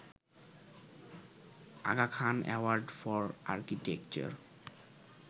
Aga Khan award for architecture